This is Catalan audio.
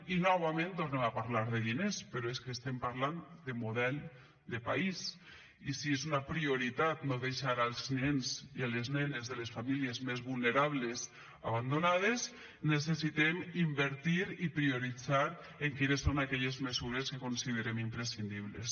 i novament tornem a parlar de diners però és que estem parlant de model de país i si és una prioritat no deixar els nens i les nenes de les famílies més vulnerables abandonades necessitem invertir i prioritzar quines són aquelles mesures que considerem imprescindibles